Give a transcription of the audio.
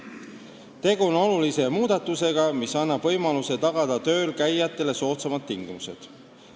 Tegu on olulise muudatusega, mis annab võimaluse tagada töölkäijatele soodsamad tingimused.